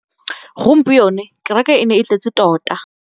Gompieno kêrêkê e ne e tletse tota.